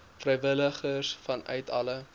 vrywilligers vanuit alle